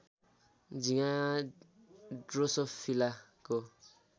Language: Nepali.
झिँगा ड्रोसोफिलाको